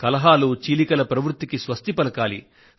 కలహాలు చీలికల ప్రవృత్తికి స్వస్తి పలకాలి